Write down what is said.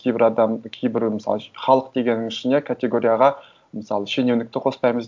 кейбір адам кейбір мысалы үшін халық дегеннің ішіне категорияға мысалы шенеунікті қоспаймыз